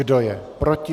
Kdo je proti?